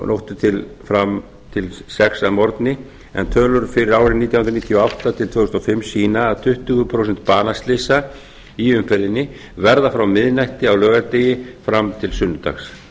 nóttu fram til sex að morgni en tölur fyrir árin nítján hundruð níutíu og átta til tvö þúsund og fimm sýna að tuttugu prósent banaslysa í umferðinni verða frá miðnætti á laugardegi fram til sunnudags